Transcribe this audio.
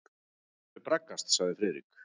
Þau braggast sagði Friðrik.